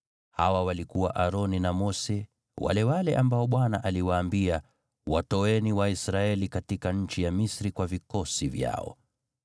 Hawa walikuwa Aroni na Mose wale wale ambao Bwana aliwaambia, “Watoeni Waisraeli katika nchi ya Misri kwa vikosi vyao.”